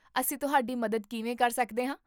ਅਸੀਂ ਤੁਹਾਡੀ ਮਦਦ ਕਿਵੇਂ ਕਰ ਸਕਦੇ ਹਾਂ?